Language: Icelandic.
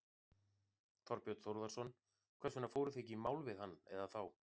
Þorbjörn Þórðarson: Hvers vegna fóruð þið ekki í mál við hann eða þá?